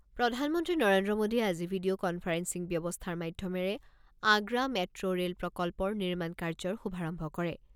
প্ৰধানমন্ত্ৰী নৰেন্দ্ৰ মোদীয়ে আজি ভিডিঅ' কনফাৰেন্সিং ব্যৱস্থাৰ মাধ্যমেৰে আগ্ৰা মেট্‌ ৰে'ল প্ৰকল্পৰ নিৰ্মাণ কাৰ্যৰ শুভাৰম্ভ কৰে।